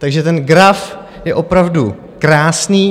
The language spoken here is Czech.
Takže ten graf je opravdu krásný.